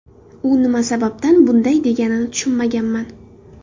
U nima sababdan bunday deganini tushunmaganman.